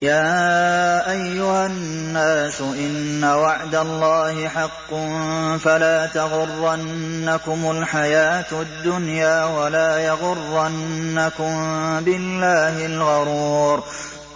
يَا أَيُّهَا النَّاسُ إِنَّ وَعْدَ اللَّهِ حَقٌّ ۖ فَلَا تَغُرَّنَّكُمُ الْحَيَاةُ الدُّنْيَا ۖ وَلَا يَغُرَّنَّكُم بِاللَّهِ الْغَرُورُ